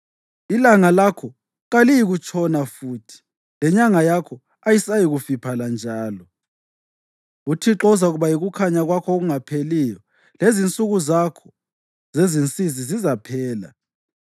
Ilanga lakho kaliyikutshona futhi, lenyanga yakho ayisayikufiphala njalo. UThixo uzakuba yikukhanya kwakho okungapheliyo, lezinsuku zakho zezinsizi zizaphela.